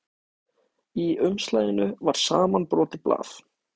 Í umslaginu var samanbrotið blað.